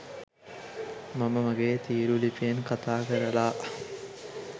මම මගේ තීරු ලිපියෙන් කතා කරලා